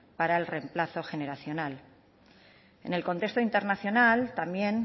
para el remplazo generacional en el contexto internacional también